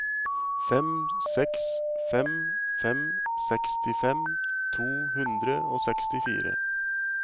fem seks fem fem sekstifem to hundre og sekstifire